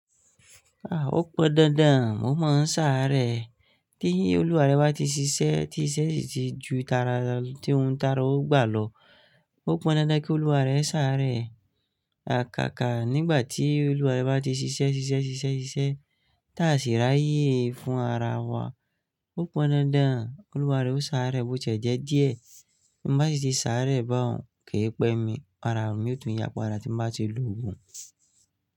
Ó pọn dandan, ó máa ń sáré. Tí Olúwaré bá ti ṣiṣẹ́, tí iṣẹ́ ti ju tara tí òun tara, ó gbà lọ. Ó pọn dandan kí Olúwaré sáré. Àkáàkà nígbà tí Olúwaré bá ti ṣiṣẹ́ ṣiṣẹ́ ṣiṣẹ́ ṣiṣẹ́ tàṣíra ayé fun ara wa. Ó pọn dandan Olúwaré ó sáré bó ti ẹ jẹ díẹ̀. Bi bá n si ti sáré bá òun kì í pẹ́ mi, ara mi yóò tún ya pada ti n bá ti lòògùn.